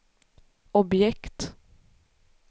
objekt